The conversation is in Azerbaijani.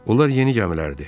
Onlar yeni gəmilərdir.